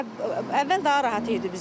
Əvvəl daha rahat idi bizə.